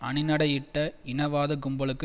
அணிநடையிட்ட இனவாத கும்பலுக்கு